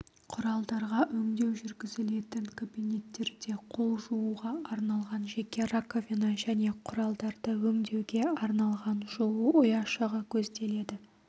құралдарға өңдеу жүргізілетін кабинеттерде қол жууға арналған жеке раковина және құралдарды өңдеуге арналған жуу ұяшығы көзделеді